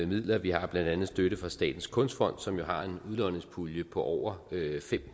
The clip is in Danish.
midler vi har blandt andet støtten fra statens kunstfond som jo har en udlodningspulje på over fem